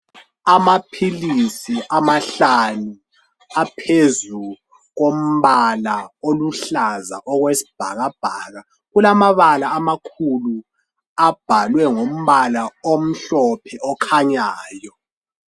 Amaphilisi amahlanu aphezu kombala oluhlaza okwesibhakabhaka. Kulammabala amakhulu abhalwe ngombala omhlophe okhanyayo.